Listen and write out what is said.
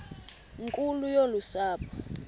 nkulu yolu sapho